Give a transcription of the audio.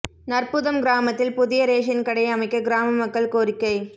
நற்புதம் கிராமத்தில் புதிய ரேஷன் கடை அமைக்க கிராம மக்கள் கோரிக்கை